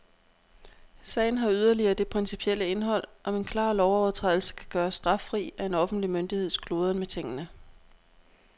Sagen har yderligere det principielle indhold, om en klar lovovertrædelse kan gøres straffri af en offentlig myndigheds kludren med tingene.